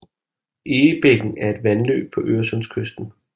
Egebækken er et vandløb på øresundskysten